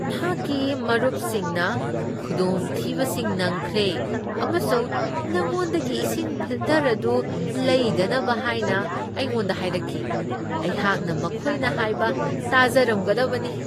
ꯑꯩꯍꯥꯛꯀꯤ ꯃꯔꯨꯞꯁꯤꯡꯅ ꯈꯨꯗꯣꯡꯊꯤꯕꯁꯤꯡ ꯅꯪꯈ꯭ꯔꯦ ꯑꯃꯁꯨꯡ ꯅꯪꯉꯣꯟꯗꯒꯤ ꯏꯁꯤꯡ ꯐꯤꯜꯇꯔ ꯑꯗꯨ ꯂꯩꯗꯅꯕ ꯍꯥꯏꯅ ꯑꯩꯉꯣꯟꯗ ꯍꯥꯏꯔꯛꯈꯤ꯫ ꯑꯩꯍꯥꯛꯅ ꯃꯈꯣꯏꯅ ꯍꯥꯏꯕ ꯇꯥꯖꯔꯝꯒꯗꯕꯅꯤ꯫